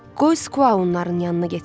Qoy Skua onların yanına getsin.